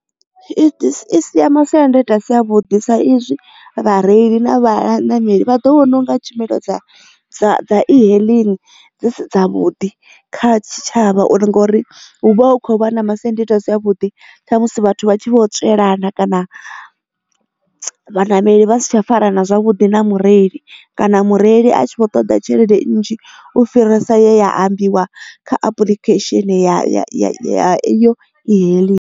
I sia masiandaitwa a si a vhuḓi sa izwi vha reili na vhanameli vha ḓo vhona unga tshumelo dza e-hailing dzi si dza vhuḓi kha tshitshavha uri ngori hu vha hu khou vha na masiandoitwa a si a vhuḓi tsha musi vhathu vha tshi vho tswelana kana vhaṋameli vhasi tsha fara na zwavhuḓi na mureli kana mureili a tshi kho ṱoḓa tshelede nnzhi u fhirisa ya ambiwa kha apulikhesheni ya eyo ehailing.